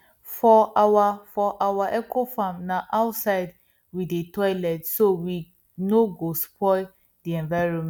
for our for our ecofarm na outside we dey toilet so we no go spoil the environment